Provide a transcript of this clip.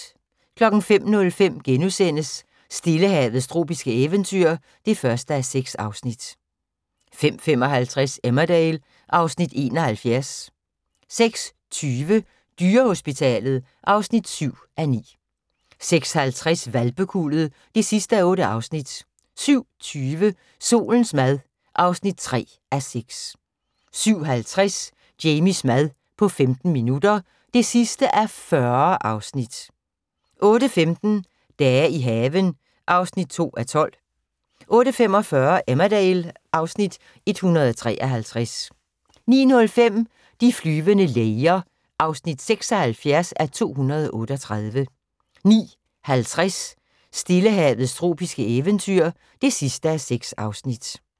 05:05: Stillehavets tropiske eventyr (1:6)* 05:55: Emmerdale (Afs. 71) 06:20: Dyrehospitalet (7:9) 06:50: Hvalpekuldet (8:8) 07:20: Solens mad (3:6) 07:50: Jamies mad på 15 minutter (40:40) 08:15: Dage i haven (2:12) 08:45: Emmerdale (Afs. 153) 09:05: De flyvende læger (76:238) 09:50: Stillehavets tropiske eventyr (6:6)